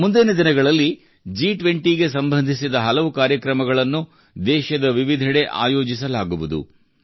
ಮುಂದಿನ ದಿನಗಳಲ್ಲಿ ಜಿ20 ಸಂಬಂಧಿಸಿದ ಹಲವು ಕಾರ್ಯಕ್ರಮಗಳನ್ನು ದೇಶದ ವಿವಿಧೆಡೆ ಆಯೋಜಿಸಲಾಗುವುದು